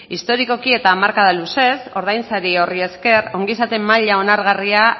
historikoki eta hamarkada luzez ordainsari horri esker ongizate maila onargarria